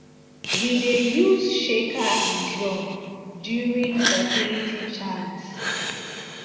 we dey use shaker and drum during fertility chants to keep rhythm and tradition